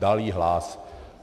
Dal jí hlas.